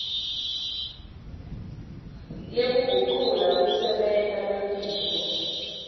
lekugucula kusebenta kwetintfo